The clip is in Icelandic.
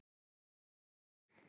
Met þetta stendur enn.